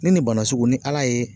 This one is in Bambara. Ni nin bana sugu ni Ala ye